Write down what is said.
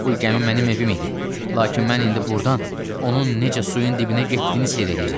Bu gəmi mənim evim idi, lakin mən indi burdan onun necə suyun dibinə getdiyini seyr eləyirəm.